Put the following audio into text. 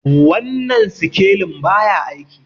wannan sikelin ba ya aiki